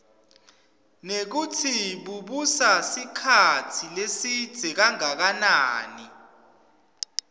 nekutsi bubusa sikhatsi lesidze kangakanani